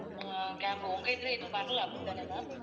அஹ் camp உங்க இதுல எதுவும் வரல அப்படித்தானே ma'am?